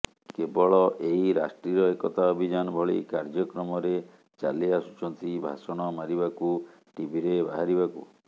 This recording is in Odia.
କେବଳ ଏଇ ରାଷ୍ଟ୍ରୀୟ ଏକତା ଅଭିଯାନ ଭଳି କାର୍ଯ୍ୟକ୍ରମରେ ଚାଲି ଆସୁଛନ୍ତି ଭାଷଣ ମାରିବାକୁ ଟିଭିରେ ବାହାରିବାକୁ